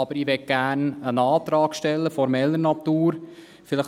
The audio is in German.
Aber ich möchte gerne einen Antrag formeller Natur stellen.